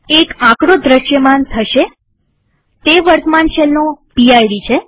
એક આંકડો દ્રશ્યમાન થશેતે વર્તમાન શેલનો પીડ છે